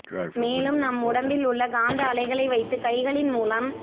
மேலும் நம் உடம்பில் உள்ள காந்த அலைகளை வைத்து கைகளின் மூலம்